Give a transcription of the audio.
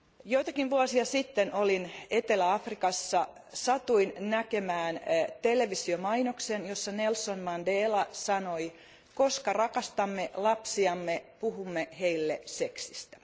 Joitakin vuosia sitten olin Etelä Afrikassa ja satuin näkemään televisiomainoksen, jossa Nelson Mandela sanoi koska rakastamme lapsiamme, puhumme heille seksistä.